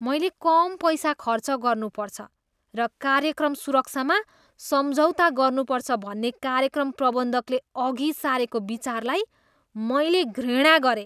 मैले कम पैसा खर्च गर्नुपर्छ र कार्यक्रम सुरक्षामा सम्झौता गर्नुपर्छ भन्ने कार्यक्रम प्रबन्धकले अघि सारेको विचारलाई मैले घृणा गरेँ।